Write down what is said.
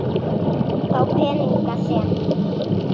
Þá peninga sem